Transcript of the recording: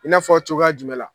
I n'a fɔ cogoya jumɛn la?